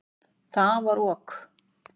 Hvað er ok?